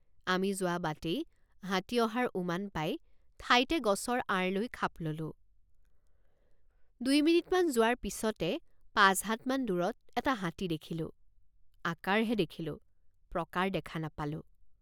আমি যোৱ৷ বাটেই হাতী অহাৰ উমান পাই ঠাইতে গছৰ আঁৰ লৈ খাপ ললেঁ৷। দুই মিনিটমান যোৱাৰ পিচতে পাঁচ হাতমান দূৰত এটা হাতী দেখিলোঁ৷ আকাৰহে দেখিলোঁ প্ৰকাৰ দেখা নাপালোঁ।